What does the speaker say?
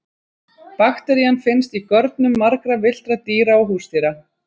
bakterían finnst í görnum margra villtra dýra og húsdýra